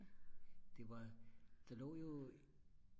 det var der lå jo